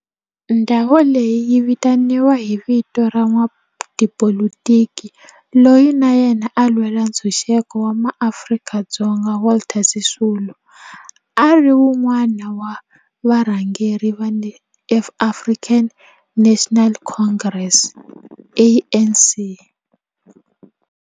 Ndhawo leyi yi vitaniwa hi vito ra n'watipolitiki loyi na yena a lwela ntshuxeko wa maAfrika-Dzonga Walter Sisulu, a ri wun'wana wa varhangeri va African National Congress, ANC.